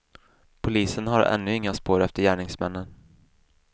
Polisen har ännu inga spår efter gärningsmännen.